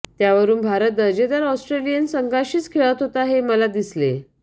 त्यावरून भारत दर्जेदार ऑस्ट्रेलियन संघाशीच खेळत होता हे मला दिसले